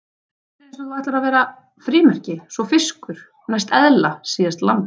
Fyrst er eins og þú ætlir að verða frímerki, svo fiskur, næst eðla, síðast lamb.